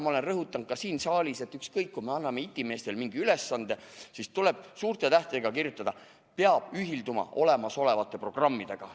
Ma olen rõhutanud ka siin saalis, et ükskõik, kui me anname itimeestele mingi ülesande, siis tuleb suurte tähtedega kirjutada: peab ühilduma olemasolevate programmidega.